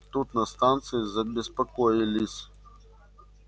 тут на станции забеспокоились